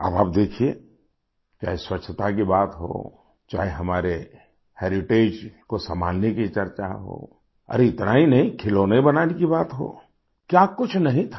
अब आप देखिये क्या स्वच्छता की बात हो चाहे हमारे हेरिटेज को संभालने की चर्चा हो और इतना ही नहीं खिलौने बनाने की बात हो क्या कुछ नहीं था